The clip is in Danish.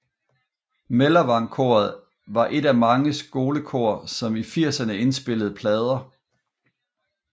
Mellervang Koret var et af mange skolekor som i firserne indspillede plader